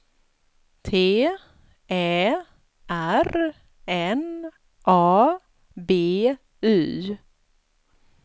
T Ä R N A B Y